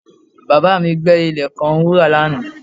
Bàbá mi gbẹ́ ilẹ̀ kan wúrà lánàá